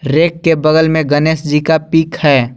Rack के बगल में गणेश जी का पिक है।